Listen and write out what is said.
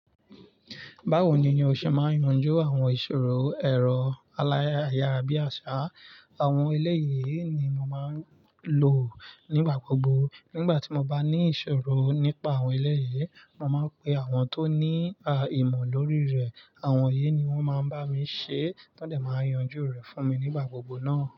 Báwo ni o ṣe máa ń yanjú àwọn ìṣòro ẹ̀rọ aláyàrá bí àṣá? Àwọn eleyi yìí ni mo máa ń lò nígbà gbogbo. Nígbà tí mo bá ní ìṣòro nípa àwọn ele yìí, mo máa ń pe àwọn tó ní à ìmọ̀ lórí rẹ̀. Àwọn yìí ni wọ́n máa ń bá mi ṣe tọ́dẹ̀ máa ń yanjú rẹ̀ fún mi nígbà gbogbo náà.